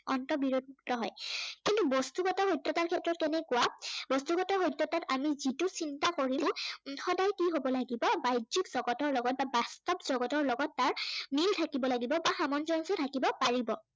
অৰ্ন্ত বিৰোধিতা হয়। কিন্তু বস্তুগত সত্য়তাৰ ক্ষেত্ৰত কেনেকুৱা, বস্তুগত সত্য়তাক আমি যিটো চিন্তা কৰিছো উম সদায় কি হব লাগিব, বাহ্যিক জগতৰ লগত বা বাস্তৱ জগতৰ লগত তাৰ মিল থাকিব লাগিব বা সামঞ্জস্য় থাকিব পাৰিব।